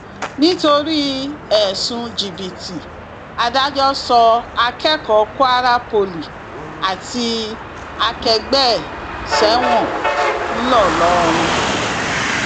nítorí ẹsùn jìbìtì adájọ sọ akẹkọọ kwara poli àti akẹgbẹ ẹ sẹwọn ńlọrọrìn